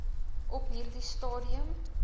op hierdie stadium